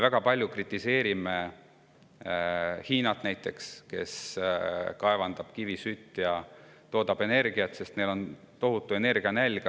Me kritiseerime väga palju näiteks Hiinat, kes kaevandab kivisütt ja toodab energiat, sest neil on tohutu energianälg.